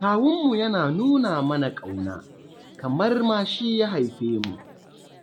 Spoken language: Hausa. Kawunmu yana nuna mana ƙauna, kamar ma shi ya haife mu.